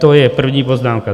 To je první poznámka.